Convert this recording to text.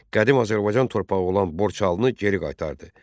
Qədim Azərbaycan torpağı olan Borçalını geri qaytardı.